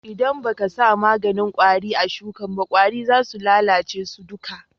ldan ba ka sa maganin kwari a sukin ba, kwari za su lallace su duka.